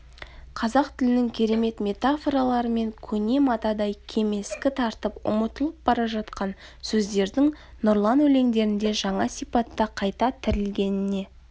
қазақ тілінің керемет метафораларымен көне матадай кемескі тартып ұмытылып бара жатқан сөздердің нұрлан өлендеріңде жаңа сипатта қайта тірілгеніне